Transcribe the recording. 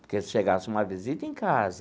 Porque se chegasse uma visita em casa,